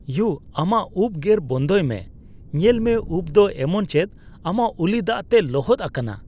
U! ᱟᱢᱟᱜ ᱩᱯ ᱜᱮᱨ ᱵᱚᱱᱫᱚᱭ ᱢᱮ ᱾ ᱧᱮᱞ ᱢᱮ, ᱩᱯ ᱫᱚ ᱮᱢᱚᱱ ᱪᱮᱫ ᱟᱢᱟᱜ ᱩᱞᱤ ᱫᱟᱜᱛᱮ ᱞᱚᱦᱚᱫ ᱟᱠᱟᱱᱟ ᱾